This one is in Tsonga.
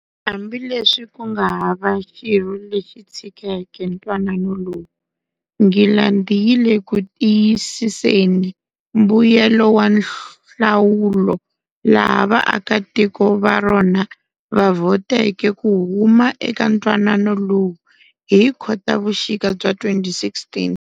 Hambileswi kunga hava xirho lexi tshikeke ntwanano lowu, Ngilandhi yi leku tiyisiseni mbuyelo wa nhlawulo laha vaaka tiko varona va vhoteke ku huma eka ntwanano lowu hi Khotavuxika bya 2016.